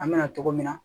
An bɛna togo min na